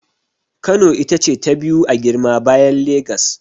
Kano ita ce ta biyu a girma bayan Legas.